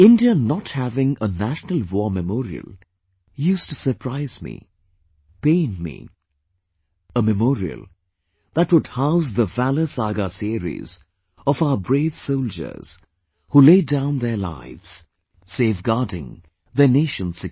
India not having a National War Memorial used to surprise me, pain me... a Memorial that would house the valour saga series of our brave soldiers who laid down their lives, safe guarding their nation's security